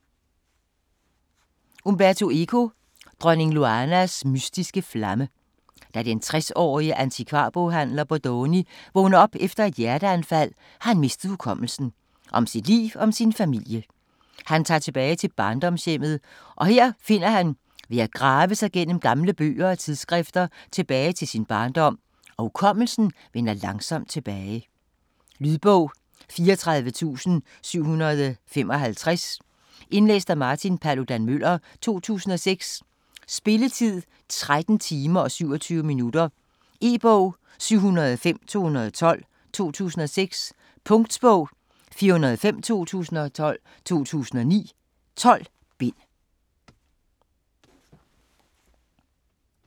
Eco, Umberto: Dronning Loanas mystiske flamme Da den 60-årige antikvarboghandler Bodoni vågner op efter et hjerteanfald, har han mistet hukommelsen om sit liv og sin familie. Han tager tilbage til barndomshjemmet, og her finder han ved at grave sig gennem gamle bøger og tidsskrifter tilbage til sin barndom, og hukommelsen vender langsomt tilbage. Lydbog 34755 Indlæst af Martin Paludan-Müller, 2006. Spilletid: 13 timer, 27 minutter. E-bog 705212 2006. Punktbog 405212 2009. 12 bind.